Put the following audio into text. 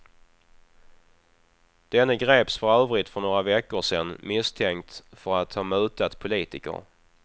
Denne greps för övrigt för några veckor sedan misstänkt för att ha mutat politiker.